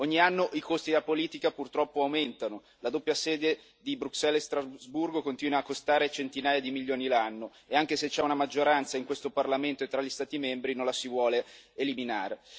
Ogni anno i costi della politica purtroppo aumentano, la doppia sede di Bruxelles e Strasburgo continua a costare centinaia di milioni l'anno e, anche se c'è una maggioranza in questo Parlamento e tra gli Stati membri, non la si vuole eliminare.